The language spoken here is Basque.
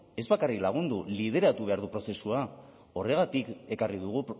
ez bakarrik lagundu lideratu behar du prozesua horregatik ekarri dugu